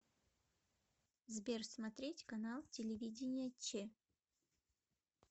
сбер смотреть канал телевидения че